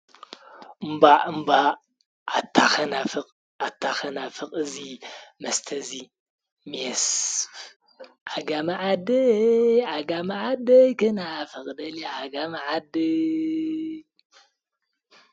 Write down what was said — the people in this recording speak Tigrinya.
እም እም ኣታኸናፍቕ ኣታኸናፍቕ እዙይ መስተዙይ ሜስ ኣጋመ መዓድ ኣጋመዓደ ክናፍቕ ደል ኣጋመዓድይ።